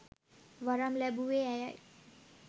වරම් ලැබුවේ ඇයයි